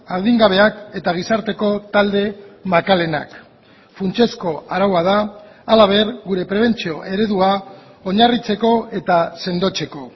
adingabeak eta gizarteko talde makalenak funtsezko araua da halaber gure prebentzio eredua oinarritzeko eta sendotzeko